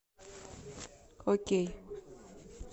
окей